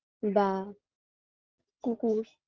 বা কুকুর